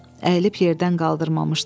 Əyilib yerdən qaldırmamışdı.